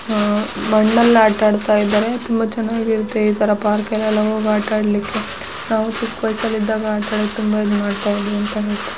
ಅಹ್ ಮಣ್ಣಲ್ ಆಟಾ ಆಡ್ತಾಯಿದ್ರೆ ತುಂಬಾ ಚೆನ್ನಾಗಿರುತ್ತೆ ಈ ತರಾ ಪಾರ್ಕ ಲ್ಲೆಲ್ಲಾ ಹೋಗ್ ಆಟ ಆಡ್ಲಿಕ್ಕೆ ನಾವು ಚಿಕ್ಕ್ ವಯಸ್ಸಿನಲ್ಲಿದ್ದಾಗ ಆಟಾಡಕ್ಕೇ ತುಂಬಾ ಇದ್ಮಾಡ್ತಿದ್ವಿ ಅಂತೇ.